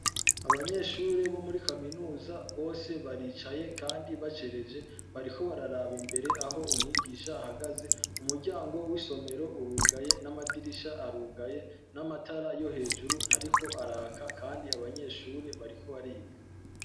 Abanyeshure bo muri kaminuza bose baricaye kandi bacereje bariko bararaba imbere aho umwigisha ahagaze umuryango w' isomero urugaye n' amadirisha arugaye n' amatara yo hejuru ntariko araka kandi abanyeshure bariko bariga.